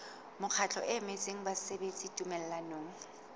mokgatlo o emetseng basebeletsi tumellanong